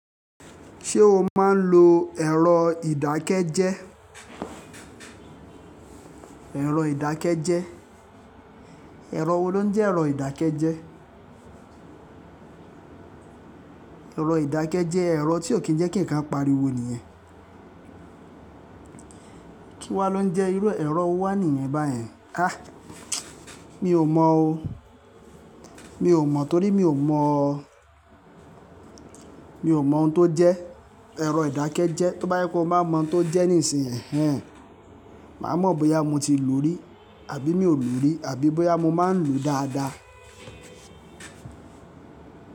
Ṣé o máa ń lo ẹ̀rọ ìdákẹ́jẹ́? Ẹ̀rọ ìdákẹ́jẹ́. Ẹ̀rọ wo ló ń jẹ́ ẹ̀rọ ìdákẹ́jẹ́? Ẹ̀rọ ìdákẹ́jẹ́ je ẹ̀rọ tí ó kí ń jẹ́ kí ǹkan pariwo nìyẹn. Kí wá ló ń jẹ́ ìru e, ẹ̀rọ wo wàníyẹn báyẹn? Ah! Mi ò mọ o. Mi ò mọ torí mi ò mọ, mi ò mọ ohun tó jẹ́ ẹ̀rọ ìdákẹ́jẹ́. Tó bá yẹ kó mo bá mọ ohun tó jẹ́ nísìnyí, ehhen, màá mọ bóyá mo ti lò ó rí àbí mi ò lò ó rí àbí bóyá mo máa ń lò ó dáadáa.